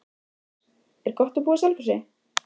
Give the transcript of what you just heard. Magnús: Er gott að búa á Selfossi?